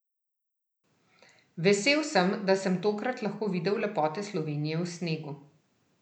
Vesel sem, da sem tokrat lahko videl lepote Slovenije v snegu.